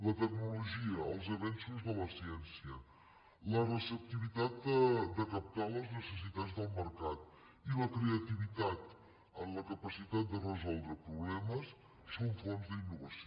la tecnologia els avenços de la ciència la receptivitat de captar les necessitats del mercat i la creativitat en la capacitat de resoldre problemes són fonts d’innovació